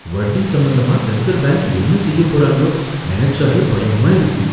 வட்டி சம்பந்தமா central bank என்ன செய்யப் போறாங்களோ நெனச்சாலே பயமா இருக்கு.